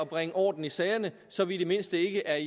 bringe orden i sagerne så vi i det mindste ikke er